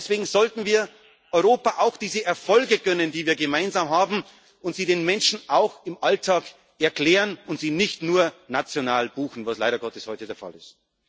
Deswegen sollten wir Europa auch diese Erfolge gönnen, die wir gemeinsam haben, und sie den Menschen auch im Alltag erklären und sie nicht nur national verbuchen, was leider Gottes heute der Fall